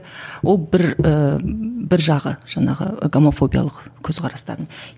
ол бір і бір жағы жаңағы гомофобиялық көзқарастардың